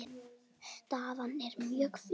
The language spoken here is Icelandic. Staðan er mjög fín.